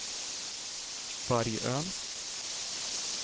Vargön